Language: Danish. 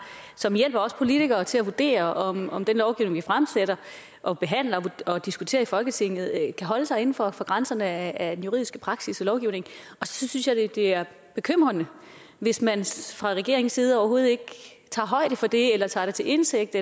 som hjælper os politikere til at vurdere om om den lovgivning vi fremsætter og behandler og diskuterer i folketinget kan holde sig inden for for grænserne af den juridiske praksis og lovgivning og så synes jeg det er bekymrende hvis man fra regeringens side overhovedet ikke tager højde for det eller tager det til indtægt